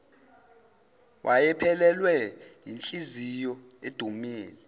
wayephelelwe yinhliziyo edumele